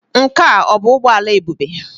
Nke a ọ bụ ụgbọ ala Ebube?